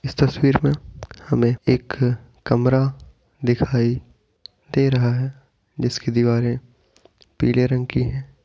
इस तस्वीर मे हमें एक कमरा दिखाई दे रहा है जिसकी दीवारें ]>पीले रंग की हैं ।